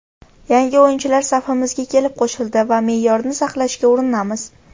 Yangi o‘yinchilar safimizga kelib qo‘shildi va me’yorni saqlashga urinamiz.